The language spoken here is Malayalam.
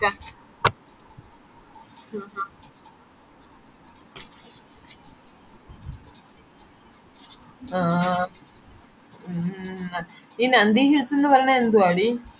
ആഹ് ആഹ് മ്മ് മ്മ് ഈ nandi hills ന്ന് പറയുന്നെ ന്തുവാടി